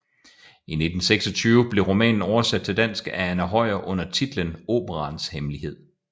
I 1926 blev romanen oversat til dansk af Anna Høyer under titlen Operaens Hemmelighed